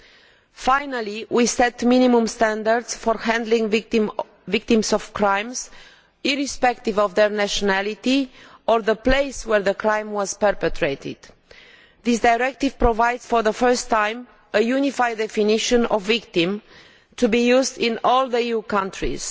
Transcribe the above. We have finally set minimum standards for handling the victims of crimes, irrespective of their nationality or the place where the crime was perpetrated. This directive provides for the first time a unified definition of a victim to be used in all EU countries.